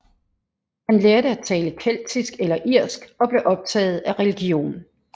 Han lærte at tale keltisk eller irsk og blev optaget af religion